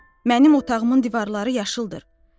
Mənim otağımın divarları yaşıldır.